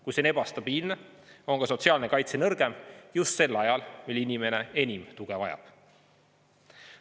Kui see on ebastabiilne, on ka sotsiaalne kaitse nõrgem just sel ajal, mil inimene enim tuge vajab.